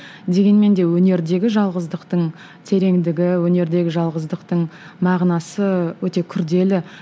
дегенмен де өнердегі жалғыздықтың тереңдігі өнердегі жалғыздықтың мағынасы өте күрделі